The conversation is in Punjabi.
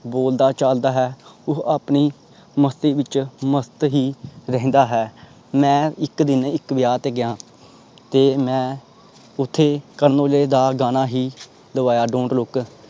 ਬੋਲਦਾ ਚਾਲਦਾ ਹੈ ਉਹ ਆਪਣੀ ਮਸਤੀ ਵਿਚ ਮਸਤ ਹੀ ਰਹਿੰਦਾ ਹੈ ਮੈਂ ਇਕ ਦਿਨ ਇਕ ਵਿਆਹ ਤੇ ਗਿਆ ਤੇ ਮੈਂ ਓਥੇ ਕਰਨ ਔਜਲਾ ਗਾਣਾ ਹੀ ਲਵਾਇਆ don't look